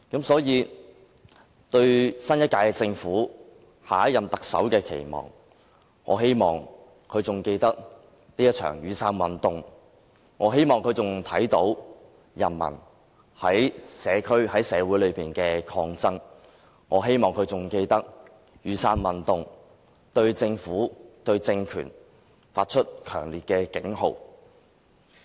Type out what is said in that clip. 所以，對於新一屆政府、下一任行政長官的期望，我希望他仍然記得雨傘運動，我希望他仍然能夠看到人民在社會上的抗爭，我希望他仍然記得雨傘運動對政府及政權發出的強烈警號。